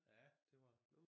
Ja det var